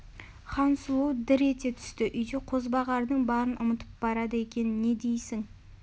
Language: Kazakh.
хансұлу дір ете түсті үйде қозбағардың барын ұмытып барады екен не дейсің